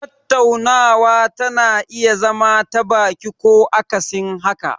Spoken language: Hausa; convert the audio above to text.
Tattaunawa tana iya zama ta baki ko akasin haka.